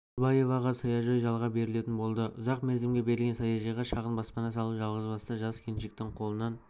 тоғызбаеваға саяжай жалға берілетін болды ұзақмерзімге берілген саяжайға шағын баспана салу жалғызбасты жас келіншектің қолынан